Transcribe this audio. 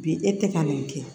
Bi e tɛ ka nin kɛ